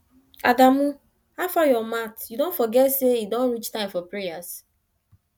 adamu howfar your mat you don forget say e don reach time for prayers